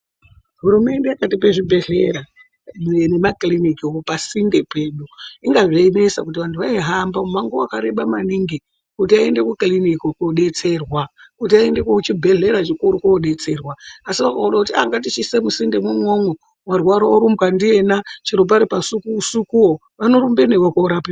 Hurumende yakatipe zvibhedhlera nemakilinikiwo pasinde pedu. Inga zveinesa kuti anthu aihamba mumango wakareba maningi, kuti aende kukiliniki kodetserwa, kuti aende kuchibhedhlera chikuru kodetserwa. Asi kwakuoone kuti ngatichiise musindemwo umwomwo, warwara orumbwa ndiyena chero pari pausikusikuwo, vanorumba newe korapiwa.